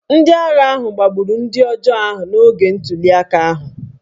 Ndị agha ahụ gbagburu ndị ọjọọ ahụ n’oge ntuliaka ahụ